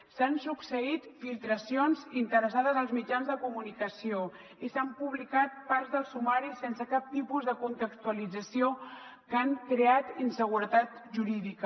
s’han succeït filtracions interessades als mitjans de comunicació i s’han publicat parts del sumari sense cap tipus de contextualització que han creat inseguretat jurídica